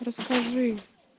расскажи